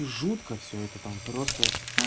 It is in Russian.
жутко всё это там просто